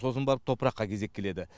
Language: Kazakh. сосын барып топыраққа кезек келеді